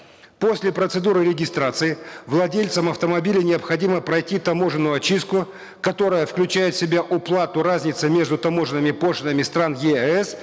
после процедуры регистрации владельцам автомобиля необходимо пройти таможенную очистку которая включает в себя уплату разницы между таможенными пошлинами стран еэс